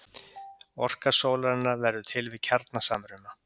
Orka sólarinnar verður til við kjarnasamruna.